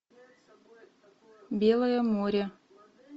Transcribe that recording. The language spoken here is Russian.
белое море